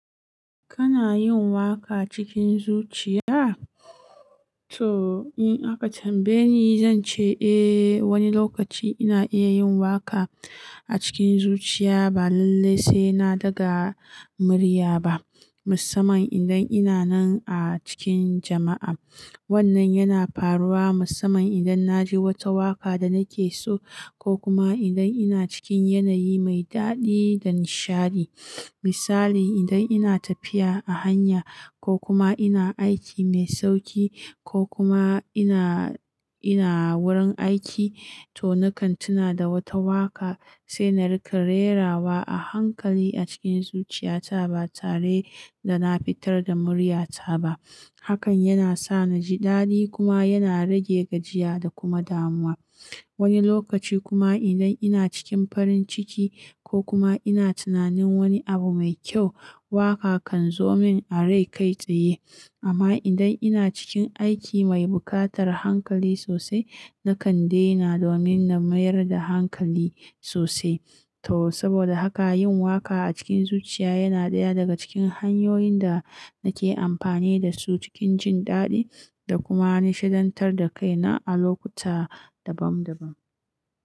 Kana yin waƙa cikin zuciya? To, in aka tambaye ni, zan ce eh, wani lokaci ina iya yin waƙa a cikin zuciya ba lallai sai na daga murya ba, musamman idan ina nan a cikin jama'a. Wannan yana faruwa musamman idan na ji wata waƙa da nake so ko kuma idan ina cikin yanayi mai daɗi da nishaɗi. Misali, idan ina tafiya a hanya ko kuma ina aiki mai sauƙi ko kuma ina, ina wurin aiki, to nakan tuna da wata waƙa sai na riƙa rerawa a hankali a cikin zuciyata ba tare da na fitar da muryata ba. Hakan yana sa na ji daɗi kuma yana rage gajiya da kuma damuwa. Wani lokaci kuma idan ina cikin farin ciki ko kuma ina tunanin wani abu mai kyau, waƙa kan zo min a rai kai tsaye. Amma idan ina cikin aiki mai buƙatar hankali sosai, nakan daina domin na mayar da hankali sosai. To, saboda haka yin waƙa a cikin zuciya yana ɗaya daga cikin hanyoyin da nake amfani da su cikin jin daɗi da kuma nishaɗantar da kaina a lokuta daban-daban.